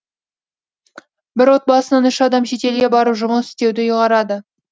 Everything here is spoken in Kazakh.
бір отбасынан үш адам шетелге барып жұмыс істеуді ұйғарады